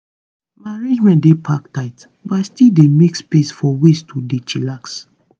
my arrangement dey pack tight but i still dey make space for ways to dey chillax.